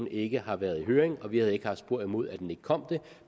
ikke har været i høring vi havde ikke haft spor imod at det kom det